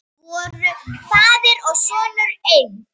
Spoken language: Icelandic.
Voru faðir og sonur einn?